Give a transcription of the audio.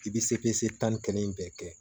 I bɛ se pese tan ni kelen bɛɛ kɛ